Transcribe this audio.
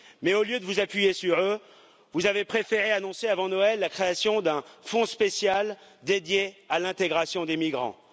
Mais, au lieu de vous appuyer sur eux, vous avez préféré annoncer avant Noël la création d'un fonds spécial dédié à l'intégration des migrants.